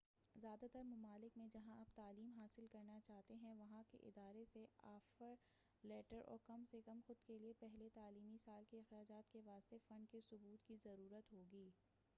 زیادہ تر ممالک میں جہاں آپ تعلیم حاصل کرنا چاہتے ہیں وہاں کے ادارے سے آفر لیٹر اور کم سے کم خود کیلئے پہلے تعلیمی سال کے اخراجات کے واسطے فنڈ کے ثبوت کی ضرورت ہوگی